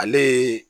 Ale ye